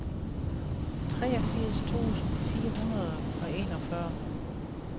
treogfirs tusind fire hundrede og enogfyrre